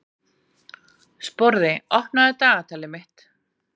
Sporði, opnaðu dagatalið mitt.